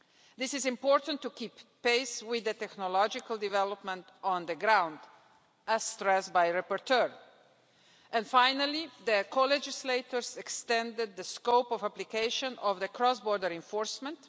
This is important to keep pace with the technological development on the ground, as stressed by the rapporteur. Lastly, the co legislators have extended the scope of application of cross border enforcement.